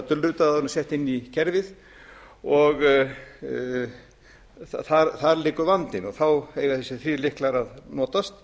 dulrita þau áður en þau eru sett inn í kerfið og og þar liggur vandinn og þá eiga þessir þrír lykla að notast